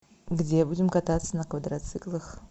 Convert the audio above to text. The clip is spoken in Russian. где будем кататься на квадроциклах